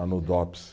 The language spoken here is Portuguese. Lá no dops